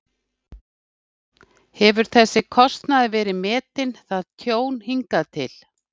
Hefur þessi kostnaður verið metinn, það tjón, hingað til?